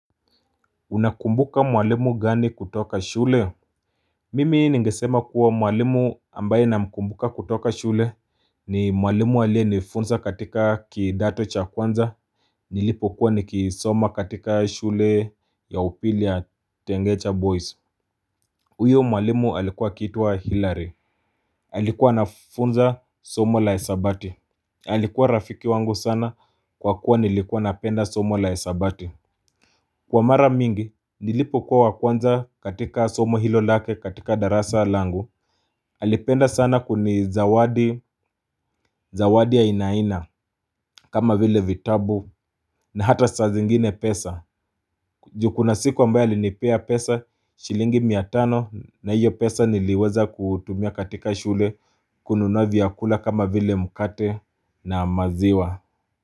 Unakumbuka mwalimu gani kutoka shule? Mimi ningesema kuwa mwalimu ambaye na mkumbuka kutoka shule ni mwalimu aliye nifunza katika kidato cha kwanza nilipo kuwa niki soma katika shule ya upili ya Tengecha Boys. Uyo mwalimu alikuwa akiitwa Hillary. Alikua naafunza somo la hesabati. Alikuwa rafiki wangu sana kwa kuwa nilikuwa napenda somo la hesabati. Kwa mara mingi, nilipokuwa wa kwanza katika somo hilo lake katika darasa langu Alipenda sana kuni zawadi, zawadi ya aina aina kama vile vitabu na hata saa zingine pesa juu kuna siku ambayo alinipea pesa shilingi mia tano na hiyo pesa niliweza kutumia katika shule kununua vyakula kama vile mkate na maziwa.